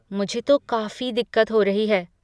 मुझे तो काफ़ी दिक्कत हो रही है।